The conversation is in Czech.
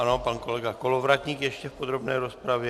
Ano, pan kolega Kolovratník ještě v podrobné rozpravě.